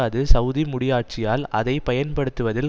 அது சவுதி முடியாட்சியால் அதைப்பயன்படுத்துவதில்